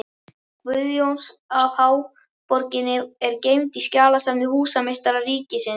Guðjóns af háborginni er geymd í skjalasafni húsameistara ríkisins.